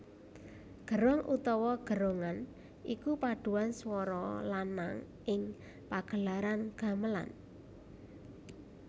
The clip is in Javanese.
Gerong utawa gerongan iku padhuan swara lanang ing pagelaran gamelan